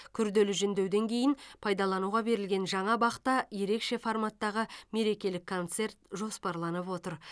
күрделі жөндеуден кейін пайдалануға берілген жаңа бақта ерекше форматтағы мерекелік концерт жоспарланып отыр